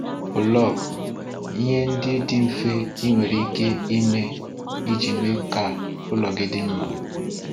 Bụlọg: Ihe ndị dị mfe i nwere ike ime iji mee ka ụlọ gị dị mma.